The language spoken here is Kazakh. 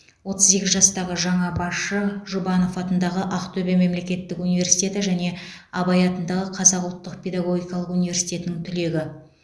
отыз сегіз жастағы жаңа басшы жұбанов атындағы ақтөбе мемлекеттік университеті және абай атындағы қазақ ұлттық педагогикалық университетінің түлегі